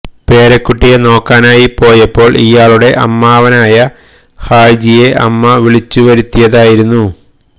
പേരക്കുട്ടിയെ നോക്കാനായി പോയപ്പോൾ ഇയാളുടെ അമ്മാവനായ ഹാജിയെ അമ്മ വിളിച്ചു വരുത്തിതായിരുന്നു